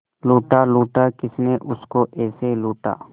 लूटा लूटा किसने उसको ऐसे लूटा